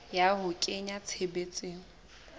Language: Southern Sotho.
ya ho a kenya tshebetsong